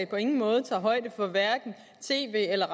på ingen måde tager højde for hverken tv eller